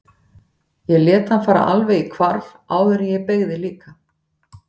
Ég lét hann fara alveg í hvarf áður en ég beygði líka.